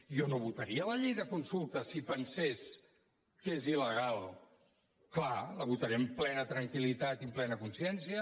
jo no votaria la llei de consultes si pensés que és il·legal clar la votaré amb plena tranquillitat i amb plena consciència